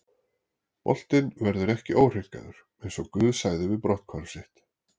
Boltinn verður ekki óhreinkaður, eins og GUÐ sagði við brotthvarf sitt.